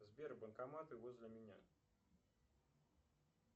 сбер банкоматы возле меня